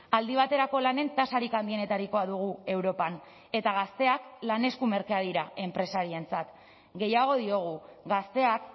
aldi baterako lanen tasarik handienetarikoa dugu europan eta gazteak lan esku merkeak dira enpresarientzat gehiago diogu gazteak